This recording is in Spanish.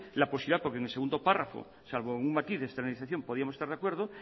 la posibilidad porque en el segundo párrafo salvo un matiz de externalización podríamos estar de acuerdo